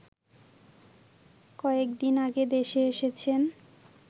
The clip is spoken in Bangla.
কয়েকদিন আগে দেশে এসেছেন